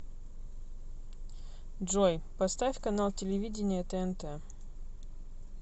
джой поставь канал телевидения тнт